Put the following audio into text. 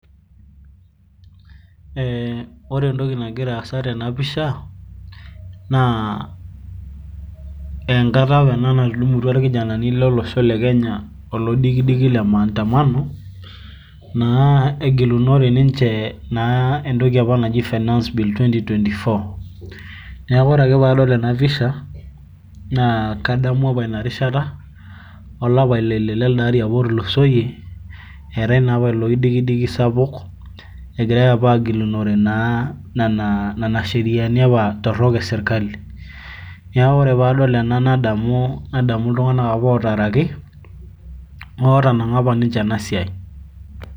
ore entoki nagira aasa tena pisha naa ekata apa natudumutua irkijenani maandamano te kenya. egilunore ninche entoki naji finance bill. neeku ore ake pee adol ena nadamu olapa leile lelde ari apa otulusoyie, eetae naa apa ilo oidikidiki sapuk, egirae agilunore nena sheriani torok esirkali. neeku ore pee adol ena nadamu, iltunganak apa ootaaraki, ootanang'a apa ninche ena siai.